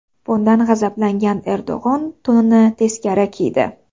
Bundan g‘azablangan Erdo‘g‘on to‘nini teskari kiydi.